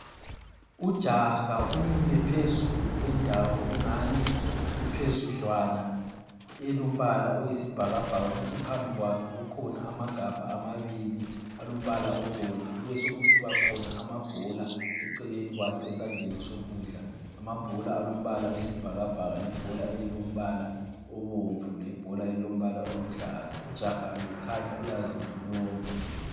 Ujaha umile phezulu kwendawo engani iphezudlwana, elombala oyosibhakabhaka. Kuthi phambi kwakhe kukhona amagabha amabili alombala obomvu. Kubesokusiba khona amabhola eceleni kwakhe esandleni sokudla. Amabhola alombala oyisibhakabhaka lebhola elilombala obomvu lebhola elilombala oluhlaza. Ujaha lo ukhanya uyazilolonga.